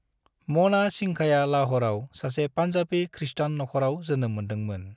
मना सिंघाया लाहौराव सासे पान्जाबी ख्रीष्टान नख'राव जोनोम मोन्दोंमोन